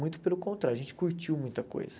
Muito pelo contrário, a gente curtiu muita coisa.